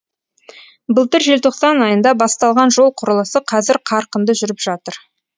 былтыр желтоқсан айында басталған жол құрылысы қазір қарқынды жүріп жатыр